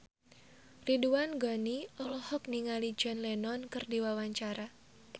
Ridwan Ghani olohok ningali John Lennon keur diwawancara